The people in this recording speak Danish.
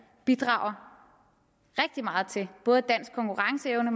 bidrager rigtig meget til både dansk konkurrenceevne